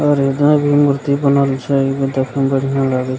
बनल छै देखे में बढ़ियाँ लागे --